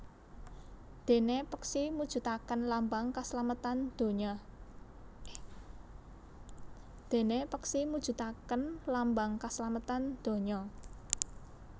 Déné peksi mujudaken lambang kaslametan dunya